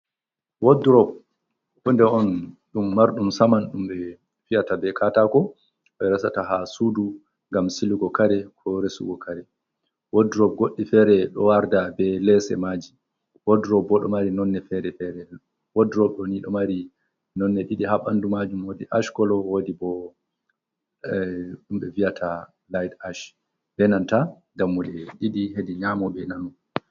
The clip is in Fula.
Wad rob hude on ɗum marɗum saman ɗum ɓe fiyata be katako, ɓe rasata ha sudu ngam siligo kare, ko resugo kare, wad rob goɗɗi fere ɗo warda be lese maji, wod rob bo ɗo mari nonne fere fere, wod rob ɗo ni ɗo mari nonne ɗiɗi ha bandu majum, wodi ash kolo, wodi bo ɗum ɓe fiyata liht ash ɓe nanta dammuɗe ɗiɗi hedi nyamo be nano.